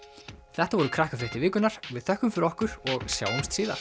þetta voru Krakkafréttir vikunnar við þökkum fyrir okkur og sjáumst síðar